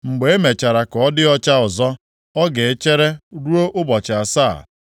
Mgbe e mechara ka ọ dị ọcha ọzọ, ọ ga-echere ruo ụbọchị asaa.